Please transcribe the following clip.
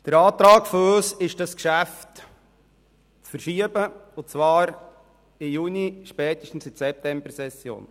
Wir beantragen, das Geschäft zu verschieben, und zwar in die Juni- oder spätestens in die Septembersession.